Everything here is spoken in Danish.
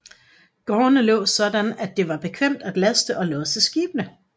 Gårdene lå sådan at det var bekvemt at laste og losse skibene